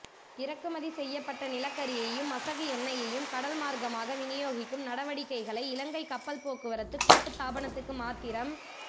இறக்குமதி செய்யப்பட்ட நிலக்கரியையூம் மசகு எண்ணெயையூம் கடல்மார்க்கமாக விநியோகிக்கும் நடவடிக்கைளை இலங்கை கப்பல் போக்குவரத்து கூட்டுத்தாபனத்துக்கு மாத்திரம்